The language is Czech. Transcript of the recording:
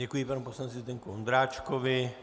Děkuji panu poslanci Zdeňku Ondráčkovi.